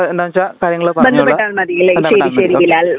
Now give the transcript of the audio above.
എന്താണ് വച്ചാൽ കാര്യങ്ങൾ പറഞ്ഞു കൊള്ളുക ആ ബന്ധപ്പെട്ടാൽ മതി ഓ കെ